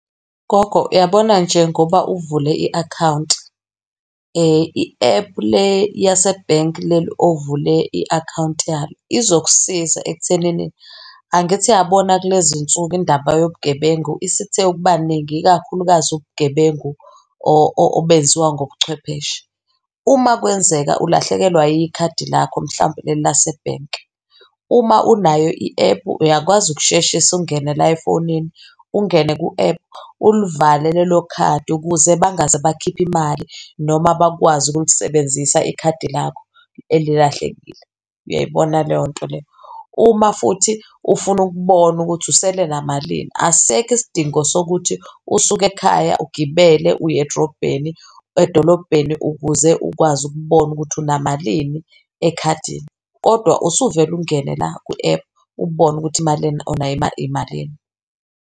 Gogo, uyabona njengoba uvule i-akhawunti i-app le yasebhenki leli ovule i-akhawunti yalo izokusiza ekuthenini, angithi uyabona kulezinsuku indaba yobugebengu isithe ukuba ningi ikakhulukazi ubugebengu obenziwa ngobuchwepheshe. Uma kwenzeka ulahlekelwa ikhadi lakho, mhlampe leli lasebhenkiuma unayo i-app uyakwazi ukusheshisa ungene la efonini, ungene ku-app ulivale lelo khadi ukuze bangaze bakhiphe imali noma bakwazi ukulisebenzisa ikhadi lakho elilahlekile, uyayibona leyo nto leyo? Uma futhi ufuna ukubona ukuthi usele namalini, asisekho isidingo sokuthi usuke ekhaya ugibele uye edrobheni, edolobheni ukuze ukwazi ukubona ukuthi unamalini ekhadini kodwa usuvele ungene la kwi-app ubone ukuthi imali onayo imalini.